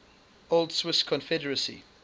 old swiss confederacy